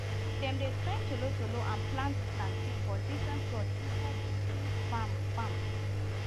dem dey train tolotolo and plant plantain for different plots inside thesame farm farm